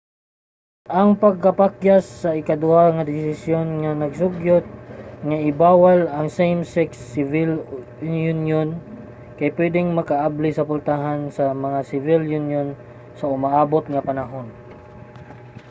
ang pagkapakyas sa ikaduha nga desisyon nga nag-sugyot nga i-bawal ang mga same-sex civil union kay pwedeng makaabli sa pultahan sa mga civil union sa umaabot nga panahon